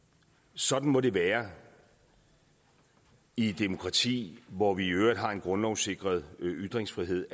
sådan må det være i et demokrati hvor vi i øvrigt har en grundlovssikret ytringsfrihed